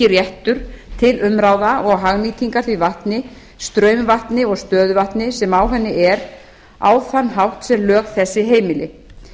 réttur til umráða og hagnýtingar því vatni straumvatni og stöðuvatni sem á henni er á þann hátt sem lög þessi heimili